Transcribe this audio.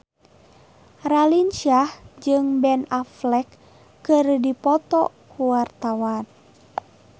Raline Shah jeung Ben Affleck keur dipoto ku wartawan